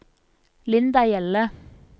Linda Hjelle